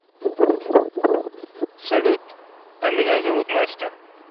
салют а меня зовут настя